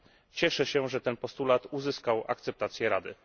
Cieszę się, że ten postulat uzyskał akceptację Rady.